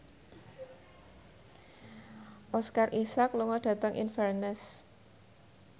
Oscar Isaac lunga dhateng Inverness